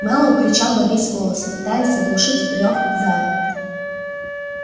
мэллоу кричал во весь голос пытаясь заглушить рёв зала